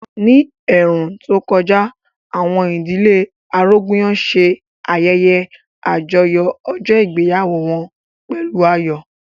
Ní ẹ̀ẹ̀rùn tó kọjá, àwọn ìdílé Arógunyọ̀ ṣe ayẹyẹ àjọyọ̀ ọjọ́ ìgbéyàwó wọn pẹ̀lú ayọ̀